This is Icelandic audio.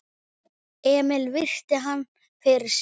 Emil virti hann fyrir sér.